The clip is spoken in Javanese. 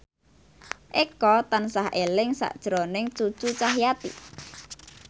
Eko tansah eling sakjroning Cucu Cahyati